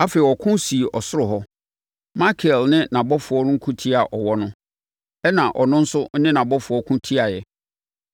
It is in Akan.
Afei, ɔko sii ɔsoro hɔ. Mikael ne nʼabɔfoɔ ko tiaa ɔwɔ no, ɛnna ɔno nso ne nʼabɔfoɔ ko tiaeɛ.